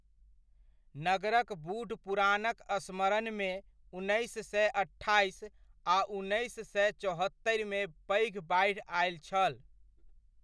नगरक बूढ़ पुरानक स्मरणमे, उन्नैस सए अट्ठाइस आ उन्नैस सए चौहत्तरिमे पैघ बाढ़ि आयल छल।